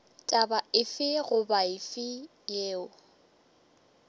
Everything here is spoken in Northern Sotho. taba efe goba efe yeo